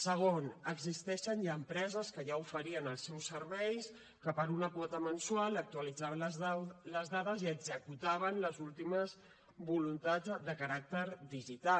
segon existeixen ja empreses que ja oferien els seus serveis que per una quota mensual actualitzaven les dades i executaven les últimes voluntats de caràcter digital